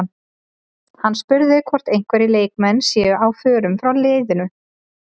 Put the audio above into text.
Hann var spurður hvort einhverjir leikmenn séu á förum frá leiðinu?